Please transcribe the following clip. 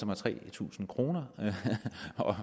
mig tre tusind kroner